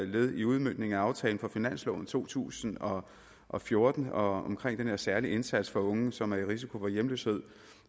led i udmøntningen af aftalen for finansloven to tusind og og fjorten omkring den her særlige indsats for unge som er i risiko for hjemløshed